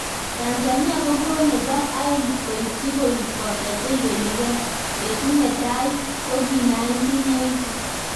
Tanzania kogo nebo aeng koityi koik boto che ibeligei, betut ne tai koki 1980.